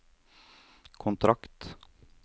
kontrakt